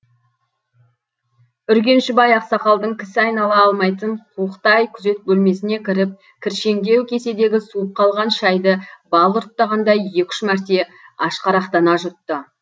үргенішбай ақсақалдың кісі айнала алмайтын қуықтай күзет бөлмесіне кіріп кіршеңдеу кеседегі суып қалған шайды бал ұрттағандай екі үш мәрте ашқарақтана жұтты